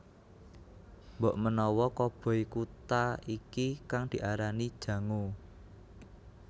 Mbokmenawa koboi Kuta iki kang diarani Jango